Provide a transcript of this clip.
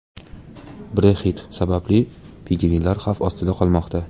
Brexit sababli pingvinlar xavf ostida qolmoqda.